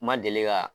N ma deli ka